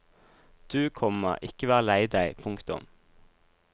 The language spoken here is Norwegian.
Du, komma ikke vær lei deg. punktum